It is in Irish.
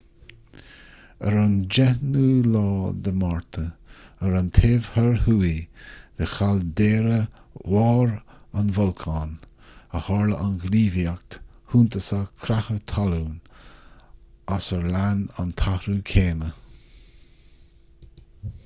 ar an 10 márta ar an taobh thoir thuaidh de chaildéara bharr an bholcáin a tharla an ghníomhaíocht shuntasach creatha talún as ar lean an t-athrú céime